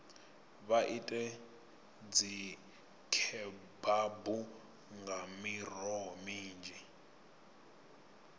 vha ite dzikhebabu nga miroho minzhi